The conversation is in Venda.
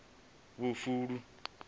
vhufuli